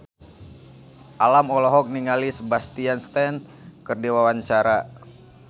Alam olohok ningali Sebastian Stan keur diwawancara